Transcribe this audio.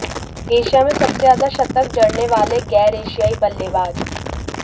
Asia में सबसे ज्यादा शतक जड़ने वाले गैर एशियाई बल्लेबाज